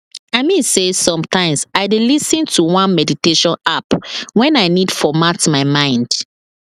i mean say sometimes i dey lis ten to one meditation app when i need format my mind